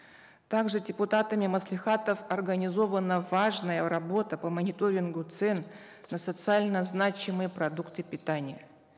также депутатами маслихатов организована важная работа по мониторингу цен на социально значимые продукты питания